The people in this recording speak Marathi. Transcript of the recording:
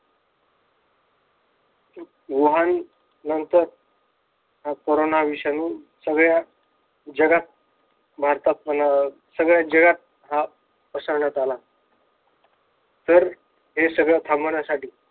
वहन नंतर हा कोरोना विषाणू सगळ्या जगात भारतात म्हणा सगळ्या जगात हा पसरण्यात आला. तर हे सगळ थांबवण्यासाठी,